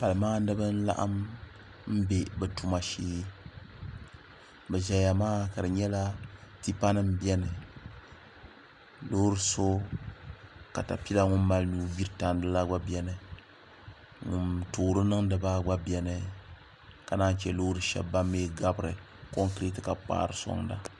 pali maandibi n laɣam bɛ bi tuma shee bi ʒɛya maa ka di nyɛla tipa nim n biɛni loori so katapila ŋun mali nuu gbiri tandi maa gba biɛni ŋun toori niŋdi maa gba biɛni ka naan chɛ Loori shab ban mii gabiri konkirɛt ka kpaari soŋda